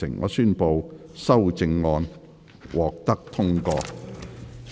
我宣布修正案獲得通過。